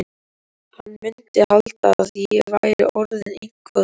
Hann mundi halda að ég væri orðinn eitthvað veikur.